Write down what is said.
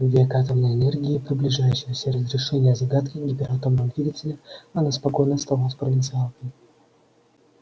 в век атомной энергии и приближающегося разрешения загадки гиператомного двигателя она спокойно оставалась провинциалкой